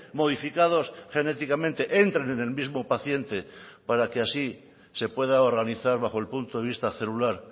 modificados genéticamente entren en el mismo paciente para que así se pueda organizar bajo el punto de vista celular